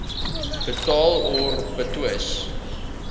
betaal or betwis